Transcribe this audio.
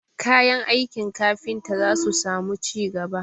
Kayan aiki kafinta za su samu ci gaba